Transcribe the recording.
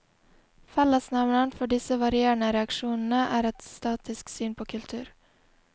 Fellesnevneren for disse varierende reaksjonene er et statisk syn på kultur.